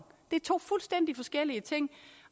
det er to fuldstændig forskellige ting